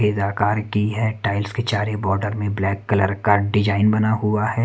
Cage आकार की है टाइल्स के चारी बॉर्डर में ब्लैक कलर का डिजाइन बना हुआ है।